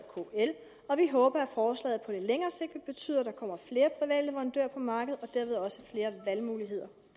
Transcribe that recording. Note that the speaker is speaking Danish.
kl og vi håber at forslaget på længere sigt vil betyde at der kommer flere leverandører på markedet og dermed også flere valgmuligheder